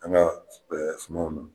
An ka sumaw nana